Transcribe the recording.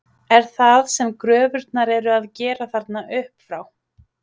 Er það sem gröfurnar eru að gera þarna upp frá?